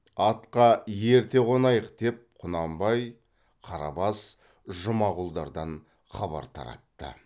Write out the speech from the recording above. атқа ерте қонайық деп құнанбай қарабас жұмағұлдардан хабар таратты